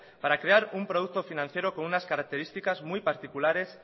para crear un producto financiero con unas características muy particulares